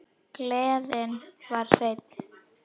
Gleðin var hrein.